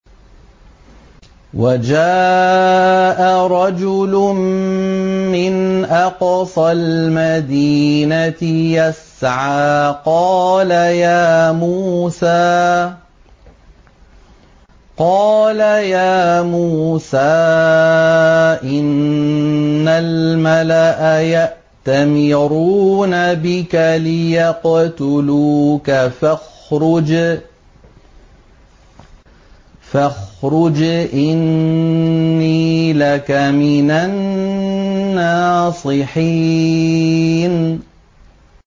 وَجَاءَ رَجُلٌ مِّنْ أَقْصَى الْمَدِينَةِ يَسْعَىٰ قَالَ يَا مُوسَىٰ إِنَّ الْمَلَأَ يَأْتَمِرُونَ بِكَ لِيَقْتُلُوكَ فَاخْرُجْ إِنِّي لَكَ مِنَ النَّاصِحِينَ